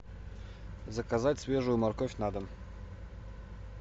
заказать свежую морковь на дом